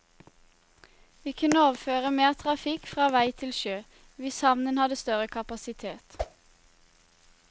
Vi kunne overføre mer trafikk fra vei til sjø, hvis havnen hadde større kapasitet.